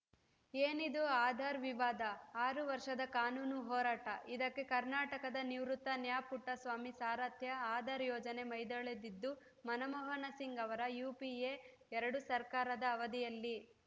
ಏನಿದು ಆಧಾರ್‌ ವಿವಾದ ಆರು ವರ್ಷದ ಕಾನೂನು ಹೋರಾಟ ಇದಕ್ಕೆ ಕರ್ನಾಟಕದ ನಿವೃತ್ತ ನ್ಯಾ ಪುಟ್ಟಸ್ವಾಮಿ ಸಾರಥ್ಯ ಆಧಾರ್‌ ಯೋಜನೆ ಮೈದಳೆದಿದ್ದು ಮನಮೋಹನ ಸಿಂಗ್‌ ಅವರ ಯುಪಿಎ ಎರಡು ಸರ್ಕಾರದ ಅವಧಿಯಲ್ಲಿ